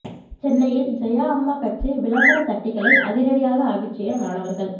சென்னையில் ஜெயா அம்மா கட்சி விளம்பர தட்டிகளை அதிரடியாக அகற்றிய மாணவர்கள்